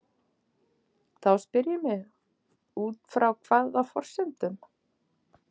Þá spyr ég mig: Út frá hvaða forsendum?